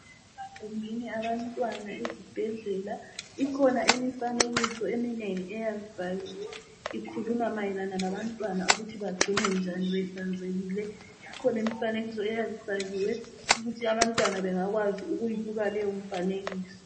Emagumbini abantwana ezibhedlela ikhona imifanekiso eminengi eyabibhaliwe ikhuluma mayelana labantwana ukuthi bagcinwe njani behlanzekile ikhona imifanekiso eyabifakiwe ukuthi abantwana bengakwazi ukuyibuka leyomfanekiso.